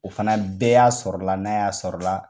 O fana bɛɛ y'a sɔrɔ la n'a y'a sɔrɔ la